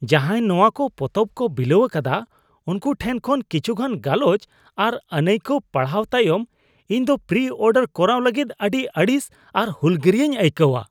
ᱡᱟᱦᱟᱭ ᱱᱚᱣᱟ ᱠᱚ ᱯᱚᱛᱚᱵ ᱠᱚ ᱵᱤᱞᱟᱹᱣ ᱟᱠᱟᱫᱟ ᱩᱱᱠᱩ ᱴᱷᱮᱱ ᱠᱷᱚᱱ ᱠᱤᱪᱷᱩᱜᱟᱱ ᱜᱟᱞᱚᱪ ᱟᱨ ᱟᱹᱱᱟᱹᱭᱠᱟᱹᱣ ᱯᱟᱲᱦᱟᱣ ᱛᱟᱭᱚᱢ ᱤᱧ ᱫᱚ ᱯᱨᱤᱼᱚᱰᱟᱨ ᱠᱚᱨᱟᱣ ᱞᱟᱹᱜᱤᱫ ᱟᱹᱰᱤ ᱟᱹᱲᱤᱥ ᱟᱨ ᱦᱩᱞᱜᱟᱹᱨᱤᱭᱟᱹᱧ ᱟᱹᱭᱠᱟᱹᱣᱟ ᱾